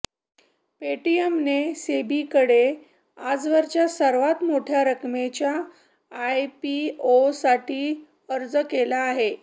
पेटीएमने सेबीकडे आजवरच्या सर्वांत मोठ्या रकमेच्या आयपीओसाठी अर्ज केला आहे